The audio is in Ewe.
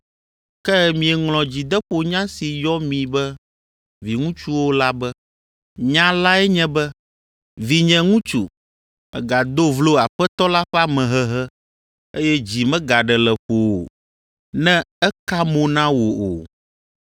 Ke mieŋlɔ dzideƒonya si yɔ mi be viŋutsuwo la be. Nya lae nye be, “Vinye ŋutsu, mègado vlo Aƒetɔ la ƒe amehehe, eye dzi megaɖe le ƒowò, ne eka mo na wò o,